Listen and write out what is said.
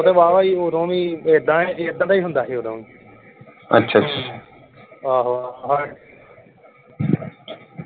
ਵਾ ਵਾ ਹੀ ਓਦੋਂ ਵੀ ਏਦਾਂ ਏਦਾਂ ਦਾ ਹੀ ਹੁੰਦਾ ਵੀ ਓਦੋ ਵੀ। ਆਹੋ